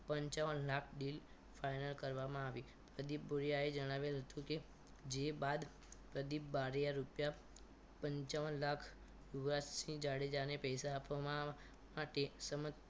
પંચાવન lakh deal final કરવામાં આવી પ્રદીપ બુરીયાએ જણાવેલ હતું કે જે બાદ પ્રદીપ બારીયા રૂપિયા પંચાવન લાખ યુવરાજસિંહ જાડેજા ને પૈસા આપવામાં માટે સમજ